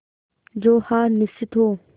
जो हार निश्चित हो